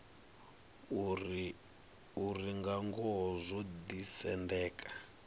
uri nga ngoho zwo ḓisendeka